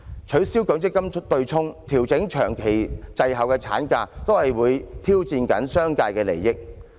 取消強積金對沖、調整長期滯後於國際標準的產假，均會挑戰商界的利益。